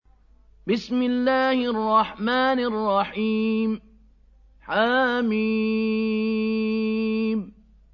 حم